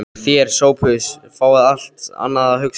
Þér, Sophus, fáið allt annað að hugsa um.